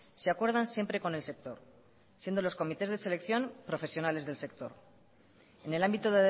se acuerdan siempre con el sector siendo los comités de selección profesionales del sector en el ámbito